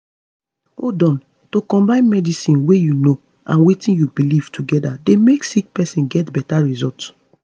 hold on - to combine medicine wey u know and wetin u belief together dey make sick pesin get beta result